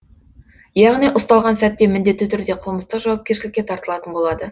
яғни ұсталған сәтте міндетті түрде қылмыстық жауапкершілікке тартылатын болады